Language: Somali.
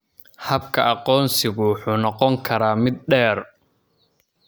Habka aqoonsigu wuxuu noqon karaa mid dheer.